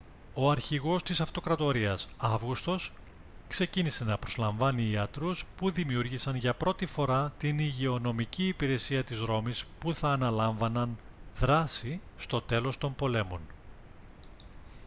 ο αρχηγός της αυτοκρατορίας αύγουστος ξεκίνησε να προσλαμβάνει ιατρούς που δημιούργησαν για πρώτη φορά την υγειονομική υπηρεσία της ρώμης που θα αναλάμβαναν δράση στο τέλος των πολέμων